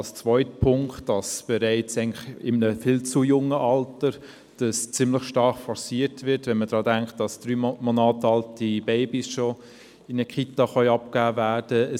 Und zweitens wird diese bereits in einem viel zu frühen Alter ziemlich stark forciert, wenn man bedenkt, dass drei Monate alte Babys schon in eine Kita abgegeben werden können.